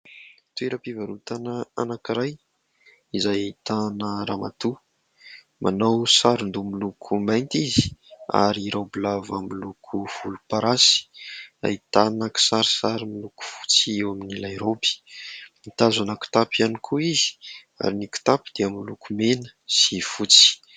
Toeram-pivarotana anankiray izay ahitana ramatoa, manao sarin-doha miloko mainty izy ary raoby lava miloko volomparasy, ahitana kisarisary miloko fotsy eo amin'ilay raoby, mitazona kitapo ihany koa izy ary ny kitapo dia miloko mena sy fotsy.